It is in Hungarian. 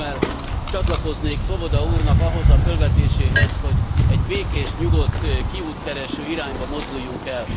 Én örömmel csatlakoznék Swoboda úrnak ahhoz a fölvetéséhez, hogy egy békés, nyugodt, kiútkereső irányba mozduljunk el.